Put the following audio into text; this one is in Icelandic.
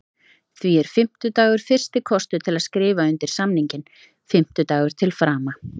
Því er fimmtudagur fyrsti kostur til að skrifa undir samninginn, fimmtudagur til frama.